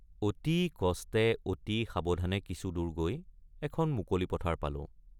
অতি কষ্টে অতি সাৱধানে কিছুদূৰ গৈ এখন মুকলি পথাৰ পালোঁ।